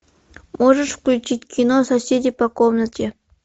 можешь включить кино соседи по комнате